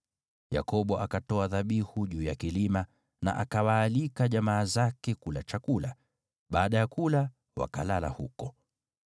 Yakobo akatoa dhabihu juu ya kilima na akawaalika jamaa zake kula chakula. Baada ya kula, wakalala huko.